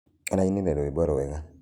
Araĩnĩre rũĩmbo wega.